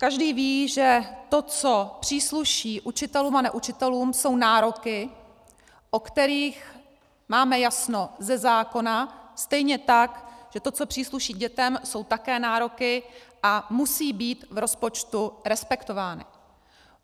Každý ví, že to, co přísluší učitelům a neučitelům, jsou nároky, o kterých máme jasno ze zákona, stejně tak že to, co přísluší dětem, jsou také nároky a musí být v rozpočtu respektovány.